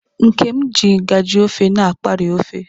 Nkem ji ngaji ofe na akpaari ofe.